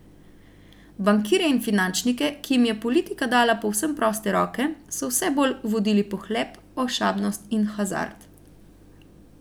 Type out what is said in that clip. Bankirje in finančnike, ki jim je politika dala povsem proste roke, so vse bolj vodili pohlep, ošabnost in hazard.